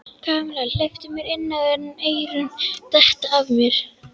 Kamilla, hleyptu mér inn áður en eyrun detta af mér